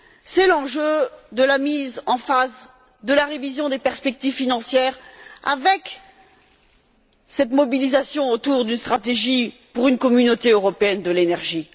C'est l'enjeu de la mise en phase de la révision des perspectives financières avec cette mobilisation autour d'une stratégie pour une Communauté européenne de l'énergie.